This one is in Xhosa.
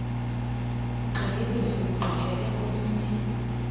ugxininiso lugqithele komnye